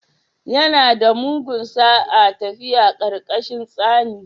Yana da mugun sa'a tafiya ƙarƙashin tsani